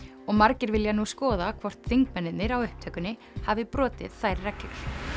og margir vilja nú skoða hvort þingmennirnir á upptökunni hafi brotið þær reglur